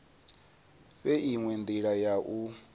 fhe inwe ndila ya u